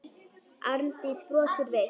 Arndís brosir veikt.